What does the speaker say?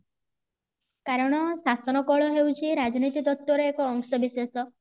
କାରଣ ଶାସନ କଳ ହେଉଚି ରାଜନୀତି ତତ୍ଵ ର ଏକ ଅଂଶବିଶେଷ